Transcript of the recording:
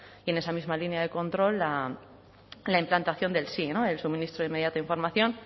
y en esa misma línea de control la implantación del sii el suministro de inmediata información